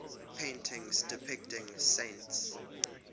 paintings depicting saints